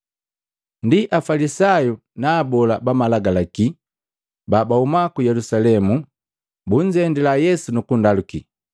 Ndi Afalisayu na Abola ba Malagalaki babahuma ku Yelusalemu, bunzendila Yesu nukundaluki,